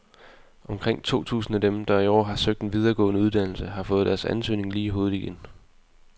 Omkring to tusind af dem, der i år har søgt en videregående uddannelse, har fået deres ansøgning lige i hovedet igen.